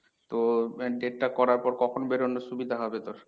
তো date টা করার পর কখন বেরোনোর সুবিধা হবে তোর?